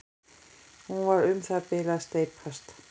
Hún er um það bil að steypast.